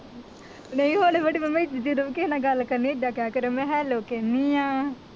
ਨਹੀਂ ਹੁਣ ਵੱਡੀ ਮੰਮੀ ਦੂਜੇ ਦਬਕੇ ਨਾਲ ਗੱਲ ਕਰਨੀ, ਏਦਾਂ ਕਿਹਾ ਕਰ, ਮੈਂ hello ਕਹਿੰਦੀ ਹਾਂ